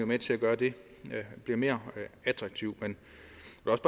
med til at gøre at det bliver mere attraktivt men